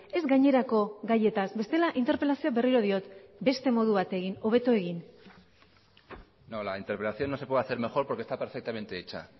ez gainerako gaietaz bestela interpelazioa berriro diot beste modu batera egin hobeto egin no la interpelación no se puede hacer mejor porque está perfectamente hecha